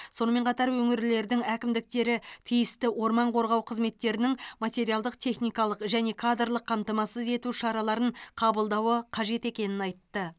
сонымен қатар өңірлердің әкімдіктері тиісті орман қорғау қызметтерінің материалдық техникалық және кадрлық қамтамасыз ету шараларын қабылдауы қажет екенін айтты